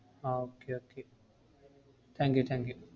ah okay okay thank you thank you